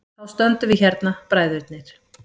Þá stöndum við hérna, bræðurnir.